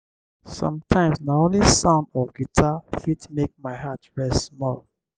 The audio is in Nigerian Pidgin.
sometimes na only sound of guitar fit make my heart rest small.